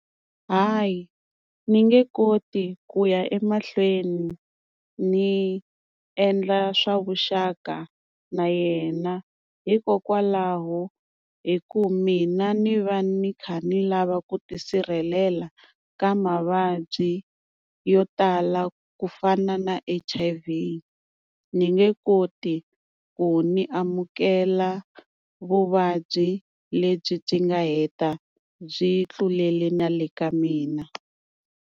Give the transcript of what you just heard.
Hayi ni nge koti ku ya emahlweni ni endla swa vuxaka na yena, hikokwalaho hi ku mina ni va ni kha ni lava ku tisirhelela ka mavabyi yo tala ku fana na H_I_V ni nge koti ku ni amukela vuvabyi lebyi byi nga heta byi tluleli na le ka mina.